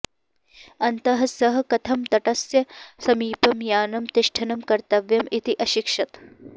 अन्तः सः कथं तटस्य समीपं यानं तिष्ठनं कर्तव्यम् इति अशिक्षत